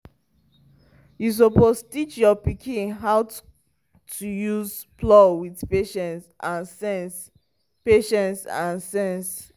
you suppose teach your pikin how to use plow with patience and sense. patience and sense.